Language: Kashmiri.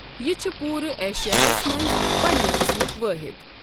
یہ چھ پورٕ ایشیاہس منٛز پنٛنہِ قٕسمک وٲحِد۔